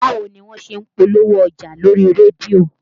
Báwo ni wọ́n ṣe ń polówó ọjà lórí rédíò?